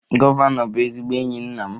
Gọvanọ bụ ezigbo enyi nna m